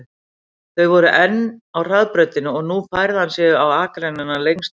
Þau voru enn á hraðbrautinni og nú færði hann sig á akreinina lengst til hægri.